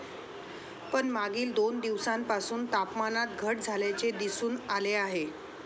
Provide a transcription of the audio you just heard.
पण मागील दोन दिवसांपासून तापमानात घट झाल्याचे दिसून आले आहे.